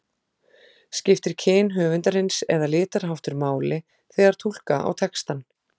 Skiptir kyn höfundarins eða litarháttur máli þegar túlka á textann?